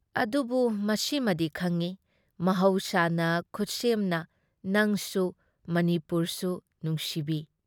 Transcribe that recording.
ꯑꯗꯨꯕꯨ ꯃꯁꯤꯃꯗꯤ ꯈꯪꯏ ꯃꯍꯧꯁꯥꯅ ꯈꯨꯠꯁꯦꯝꯅ ꯅꯡꯁꯨ ꯃꯅꯤꯄꯨꯔꯁꯨ ꯅꯨꯡꯁꯤꯕꯤ ꯫